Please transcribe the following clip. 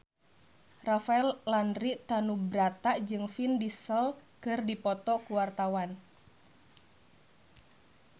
Rafael Landry Tanubrata jeung Vin Diesel keur dipoto ku wartawan